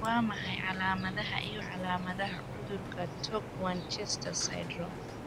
Waa maxay calaamadaha iyo calaamadaha cudurka Torg Winchester syndrome?